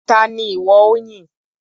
Ta ni ìwọ ó yìn?